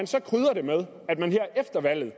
så krydrer det med at man her efter valget